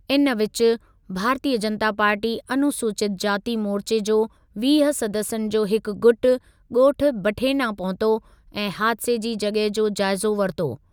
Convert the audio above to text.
इन विचु, भारतीयु जनता पार्टी अनुसूचित जाती मोर्चे जो वीह सदस्यनि जो हिकु गुट ॻोठु बठेना पहुतो ऐं हादिसे जी जॻहि जो जाइज़ो वरितो।